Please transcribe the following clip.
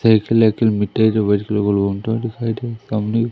cycle vehicle मीठे जो दिखाई दे सामने--